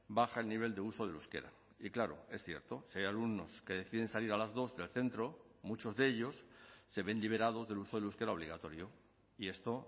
baja el nivel de uso del euskera y claro es cierto si hay alumnos que deciden salir a las dos del centro muchos de ellos se ven liberados del uso del euskera obligatorio y esto